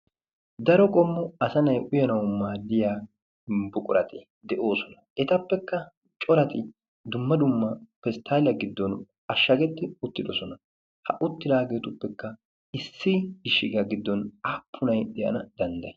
daro qommu asanay uyanau maaddiya buquraxi de'oosona. Etappekka corati dumma dumma pisttaliya giddon ashshagetti uttidosona. ha uttidaageetuppekka issi gishshigya giddon aappunai de'ana danddayi?